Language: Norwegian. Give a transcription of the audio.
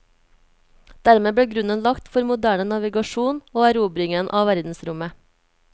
Dermed ble grunnen lagt for moderne navigasjon og erobringen av verdensrommet.